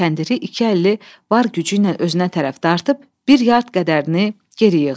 Kəndiri iki əlli var gücü ilə özünə tərəf dartıb, bir yard qədərini geri yığdı.